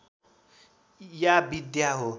या विद्या हो